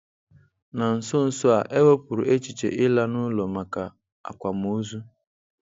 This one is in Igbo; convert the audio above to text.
Na nso nso a, e wepụrụ echiche ịla n'ụlọ maka akwamozu.